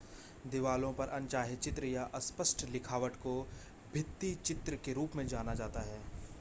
दिवालों पर अनचाहे चित्र या अस्पष्ट लिखावट को भित्तिचित्र के रूप में जाना जाता है